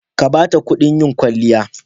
Ka ba ta kuɗin yin kwaliya.